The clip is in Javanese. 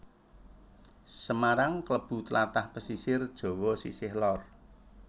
Semarang kalebu tlatah pesisir Jawa sisih lor